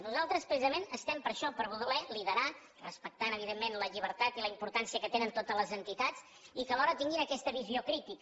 nosaltres precisament estem per això per voler liderar respectant evidentment la llibertat i la importància que tenen totes les entitats i que alhora tinguin aquesta visió crítica